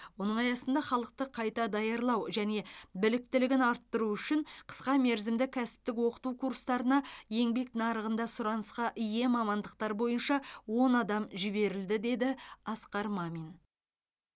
оның аясында халықты қайта даярлау және біліктілігін арттыру үшін қысқа мерзімді кәсіптік оқыту курстарына еңбек нарығында сұранысқа ие мамандықтар бойынша он адам жіберілді деді асқар мамин